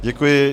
Děkuji.